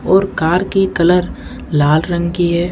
और कार की कलर लाल रंग की है।